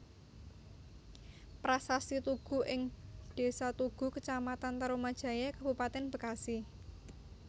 Prasasti Tugu ing Desa Tugu Kecamatan Tarumajaya Kabupaten Bekasi